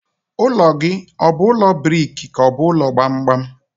Ụlọ gị ọ bụ ụlọ briki ka ọ bụ ụlọ gbamgbam?